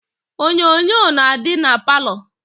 Onyonyo na-adị na palọ